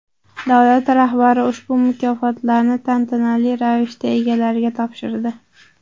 Davlat rahbari ushbu mukofotlarni tantanali ravishda egalariga topshirdi.